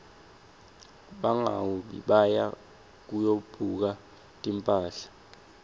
bangaui baya kuyobuka timphahla